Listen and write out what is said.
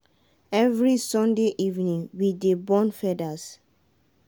every sunday evening we dey burn feathers.